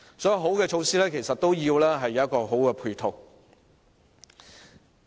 所以，好的措施其實需要有好的配套支持。